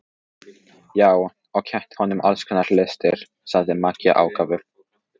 Já, og kennt honum alls konar listir, sagði Maggi ákafur.